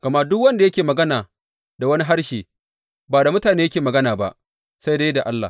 Gama duk wanda yake magana da wani harshe ba da mutane yake magana ba, sai dai da Allah.